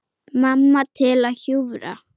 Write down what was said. Mamma til að hjúfra.